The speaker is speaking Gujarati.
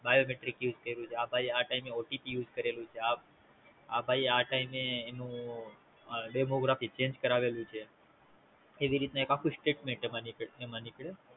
Biometric use કયૃ છે આ ભાઈ એ આ TimeOTPUse કરેલું છે આ ભાઈ એ આ Time એનું Demography Change કરાવેલું છે એવીરીતે આખું Statement એમાં નીકળે નીકળે